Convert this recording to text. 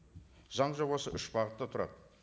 заң жобасы үш бағыттан тұрады